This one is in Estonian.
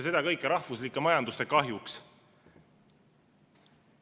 Seda kõike rahvuslike majanduste kahjuks.